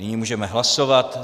Nyní můžeme hlasovat.